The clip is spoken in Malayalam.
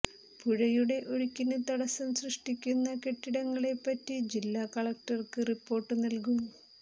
പുഴയുടെ ഒഴുക്കിന് തടസം സ്യഷ്ടിക്കുന്ന കെട്ടിടങ്ങളെപ്പറ്റി ജില്ലാ കലക്ടര്ക്ക് റിപ്പോര്ട്ട് നൽകും